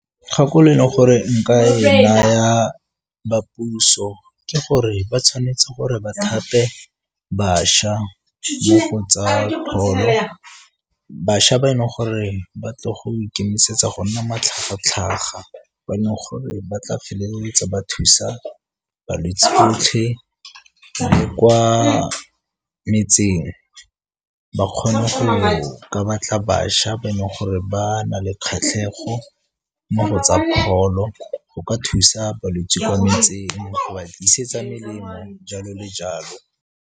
Kgakololo e leng gore nka e naya ba puso ke gore ba tshwanetse gore ba thape bašwa mo go tsa pholo. Bašwa ba e leng gore ba tlo go ikemisetsa go nna matlhaga-tlhaga ba e leng gore ba tla feleletsa ba thusa balwetsi . Le kwa metseng ba kgona go ka batla bašwa ba e leng gore ba na le kgatlhego mo go tsa pholo, go ka thusa balwetsi kwa metseng ga ba tlisetsa melemo jalo le jalo.